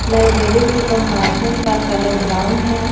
Library के compartment का colour brown है।